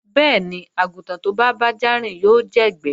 Bẹ́ẹ̀ni, àgùntàn tó bá bájá rìn yóò jẹ̀gbẹ́